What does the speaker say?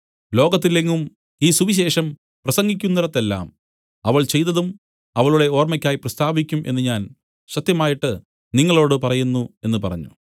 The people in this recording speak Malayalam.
ലോകത്തിൽ എങ്ങും ഈ സുവിശേഷം പ്രസംഗിക്കുന്നിടത്തെല്ലാം അവൾ ചെയ്തതും അവളുടെ ഓർമ്മയ്ക്കായി പ്രസ്താവിക്കും എന്നു ഞാൻ സത്യമായിട്ട് നിങ്ങളോടു പറയുന്നു എന്നു പറഞ്ഞു